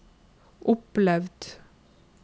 opplevd